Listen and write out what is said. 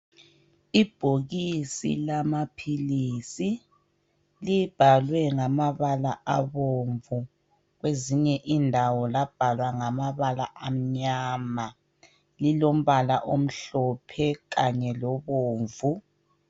Ibhokisi lamaphilisi libhalwe ngamabala abomvu. Kwezinye indawo labhalwa ngamabala amnyama . Lilombala omhlophe kanye lobomvu.